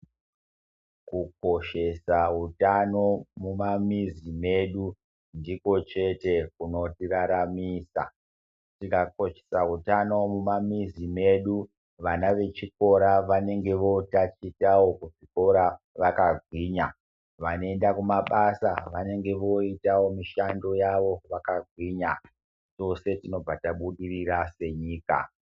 Kukoshesa utano mumamizi medu ndiko chete kunotiraramisa tikakoshesa utano mumamizi medu vana vechikora vanenge votachitawo kuchikora vakagwinya vanoende kumabasa vanenge voitawo mushando yawo vakagwinya tose tinobva tabudirira senyika.